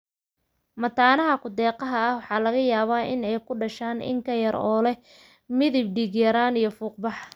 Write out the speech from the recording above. Mataanaha ku-deeqaha ah waxa laga yaabaa in ay ku dhashaan in ka yar, oo leh midab, dhiig-yaraan, iyo fuuq-bax.